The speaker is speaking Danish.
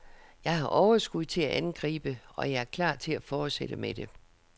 Jeg har overskud til at angribe, og jeg er klar til at fortsætte med det.